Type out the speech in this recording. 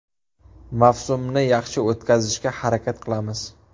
Mavsumni yaxshi o‘tkazishga harakat qilamiz.